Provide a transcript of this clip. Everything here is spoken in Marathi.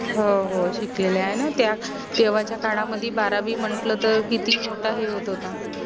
हो हो शिकलेल्या आहे न त्या तेव्हाच्या काडामदी बारावी म्हंटल तर किती मोटा हे होत होता